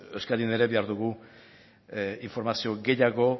euskadin ere behar dugu informazio gehiago